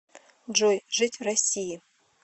джой жить в россии